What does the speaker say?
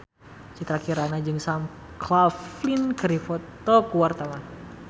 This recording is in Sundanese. Citra Kirana jeung Sam Claflin keur dipoto ku wartawan